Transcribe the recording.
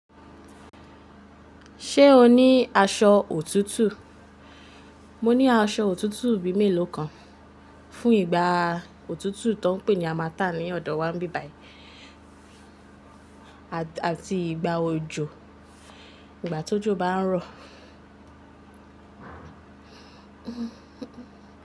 Ṣé o ní aṣọ òtútù? Mo ní aṣọ òtútù bíi mélòó kan. Fún ìgbà òtútù tó ń pè ní harmattan ní ọ̀dọ̀ wa bí bayi àti ìgbà òjò, ìgbà tójò bá ń rọ̀.